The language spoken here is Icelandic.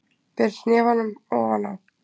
Ber hnefanum ofan á.